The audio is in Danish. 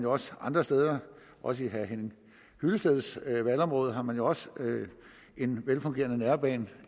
også andre steder og i herre henning hyllesteds valgområde har man jo også en velfungerende nærbane